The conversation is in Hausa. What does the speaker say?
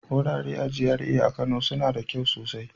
Wurare a GRA na Kano suna da kyau sosai.